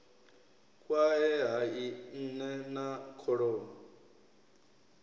kwae hai nne na kholomo